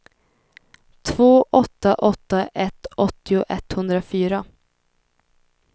två åtta åtta ett åttio etthundrafyra